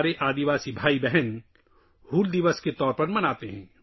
ہمارے قبائلی بھائی بہن اس دن کو ’’ ہُل دِوَس‘‘ کے طور پر مناتے ہیں